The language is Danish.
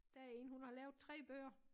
Der er en hun har lavet 3 bøger